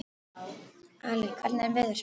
Ali, hvernig er veðurspáin?